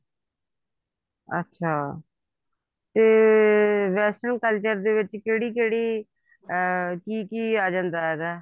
ਅੱਛਾ ਤੇ western culture ਦੇ ਵਿੱਚ ਕਿਹੜੀ ਕਿਹੜੀ ਅਮ ਕੀ ਕੀ ਆ ਜਾਂਦਾ ਹੈਗਾ